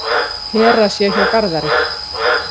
Hera sé hjá Garðari.